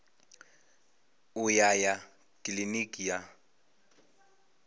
u ya ya kiliniki ya